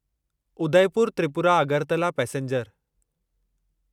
Udaipur Tripura Agartala passenger